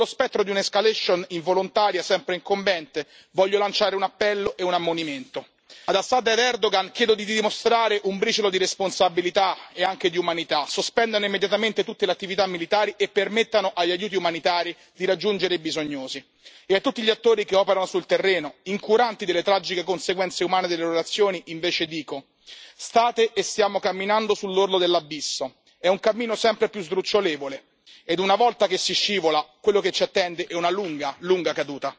Con lo spettro di una escalation involontaria sempre incombente, voglio lanciare un appello e un ammonimento ad Assad ed Erdogan, chiedo di dimostrare un briciolo di responsabilità e anche di umanità sospendano immediatamente tutte le attività militari e permettono agli aiuti umanitari di raggiungere i bisognosi. E a tutti gli attori che operano sul terreno, incuranti delle tragiche conseguenze umane delle relazioni invece dico state e stiamo camminando sull'orlo dell'abisso, è un cammino sempre più sdrucciolevole ed una volta che si scivola, quello che ci attende è una lunga, lunga caduta.